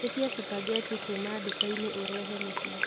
ĩtĩa spaghetti kuũma dukaini urehe mũcĩĩ